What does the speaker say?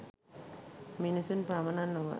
මිනිසුන් පමණක් නොව